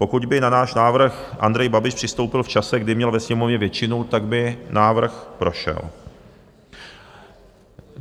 Pokud by na náš návrh Andrej Babiš přistoupil v čase, kdy měl ve Sněmovně většinu, tak by návrh prošel.